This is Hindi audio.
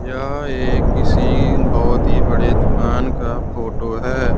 यह एक किसी बहुत ही बड़े दुकान का फोटो है।